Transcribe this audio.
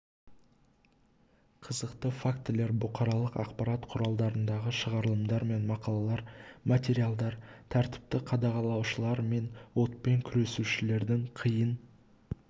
қызықты фактілер бұқаралық ақпарат құралдарындағы шығарылымдар мен мақалалар материалдар тәртіпті қадағалаушылар мен отпен күресушілердің қиын